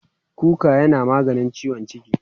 kuka yana maganin ciwon ciki